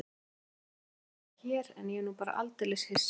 Auðvitað máttu alltaf vera hér en ég er nú bara svo aldeilis hissa.